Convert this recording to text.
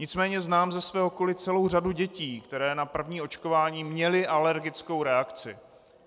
Nicméně znám ze svého okolí celou řadu dětí, které na první očkování měly alergickou reakci.